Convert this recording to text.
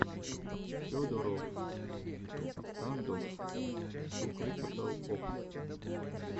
федороффф стандофф ту критикал опс